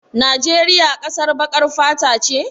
Najeriya ƙasar baƙar fata ce?